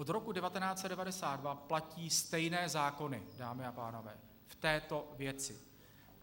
Od roku 1992 platí stejné zákony, dámy a pánové, v této věci.